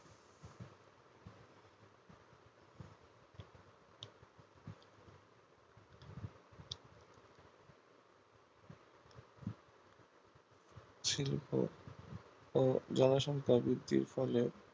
কিন্তু জনসংখ্যার বৃদ্ধির ফলে